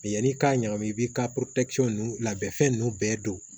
Yanni i k'a ɲagami i b'i ka ninnu labɛn fɛn ninnu bɛɛ don